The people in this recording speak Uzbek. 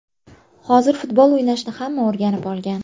Hozir futbol o‘ynashni hamma o‘rganib olgan.